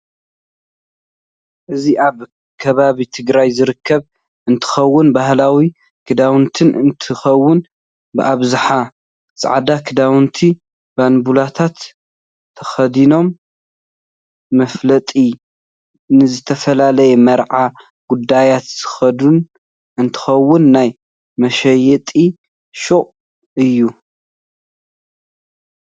እዚ ኣብ ከባቢትግራይ ዝርከብ እንትከውን ባህላዊ ክዳውንት እንትከውን ብኣብዛሓ ፃዕዳ ክዳውንት ባንብላታት ተከዲነኖኡ መፍለጥ ንዝተፈላላዩ ምርዓ ጉዳያት ዝክደን እንትከውን ናይ መሻየጥ ሽቅ እዩ።